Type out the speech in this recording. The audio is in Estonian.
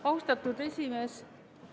Austatud esimees!